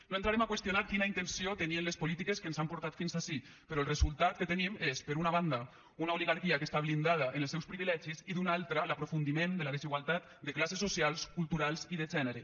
no entrarem a qüestionar quina intenció tenien les polítiques que ens han portat fins ací però el resultat que tenim és per una banda una oligarquia que està blindada en els seus privilegis i d’una altra l’aprofundiment de la desigualtat de classes socials culturals i de gènere